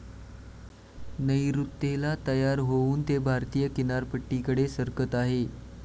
नैऋत्येला तयार होऊन ते भारतीय किनारपट्टीकडे सरकत आहे.